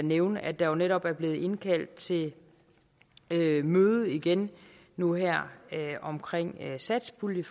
nævne at der jo netop er blevet indkaldt til møde igen nu her omkring satspuljen